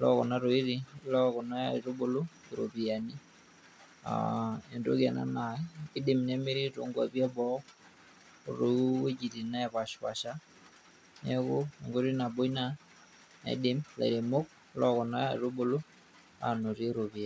lokuna tokiting lokuna aitubulu, iropiyiani. Ah entoki ena naa kidim nemiri tonkwapi eboo, otowuejiting' nepashipasha, neeku enkoitoi nabo ina naidim ilairemok lokuna aitubulu anotie ropiyaiani.